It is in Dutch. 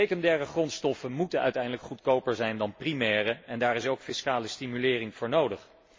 Secundaire grondstoffen moeten uiteindelijk goedkoper zijn dan primaire, en daar is ook fiscale stimulering voor nodig.